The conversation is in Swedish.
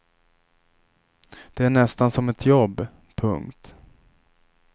Det är nästan som ett jobb. punkt